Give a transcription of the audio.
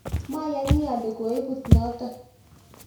mayani ale koibut noto